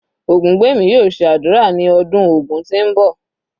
Ogungbemi yóò ṣe ádùrá ní ọdún Ògun tí ń bọ̀.